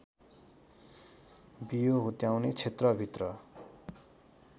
बियो हुत्याउने क्षेत्रभित्र